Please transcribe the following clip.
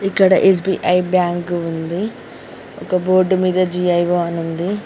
ఇక్కడ SBI bank ఉంది ఒక బోర్డు మీద జి ఐ ఓ అని ఉంది.